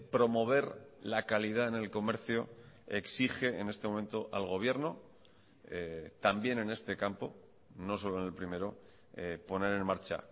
promover la calidad en el comercio exige en este momento al gobierno también en este campo no solo en el primero poner en marcha